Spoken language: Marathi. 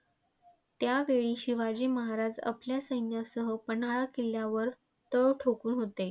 त्यावेळी शिवाजी महाराज आपल्या सैन्यासह पन्हाळा किल्ल्यावर तळ ठोकुन होते.